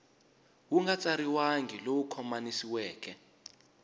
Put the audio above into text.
wu nga tsariwangi lowu khomanisiweke